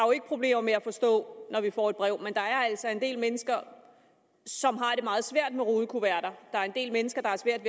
problemer med at forstå når vi får et brev men der er altså en del mennesker som har det meget svært med rudekuverter der er en del mennesker der har svært